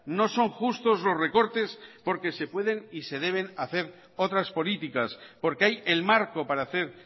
no son justos los recortes porque se pueden y se deben hacer otras políticas porque hay el marco para hacer